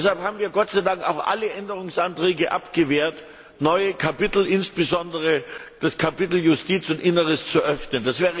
Deshalb haben wir, Gott sei Dank, auch alle Änderungsanträge abgewehrt, neue Kapitel, insbesondere das Kapitel Justiz und Inneres zu öffnen.